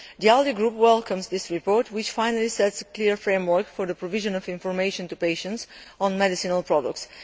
The ALDE Group welcomes this report, which finally sets a clear framework for the provision of information to patients on medicinal products.